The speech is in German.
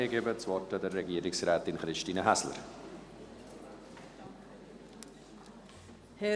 Ich gebe das Wort Frau Regierungsrätin Christine Häsler.